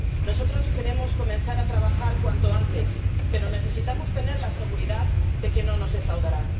Nosotros queremos comenzar a trabajar cuanto antes, pero necesitamos tener la seguridad de que no nos defraudará.